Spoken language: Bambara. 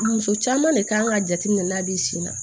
Muso caman de kan k'a jateminɛ n'a bi sin na